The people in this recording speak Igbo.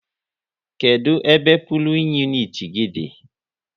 Kedụ ebe pulin uniti gị dị?